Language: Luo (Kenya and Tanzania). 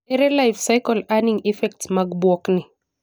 Ere life-cycle earning effects mag bwok ni?